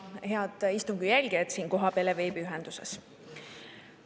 Head istungi jälgijad siin kohapeal ja veebiühenduses!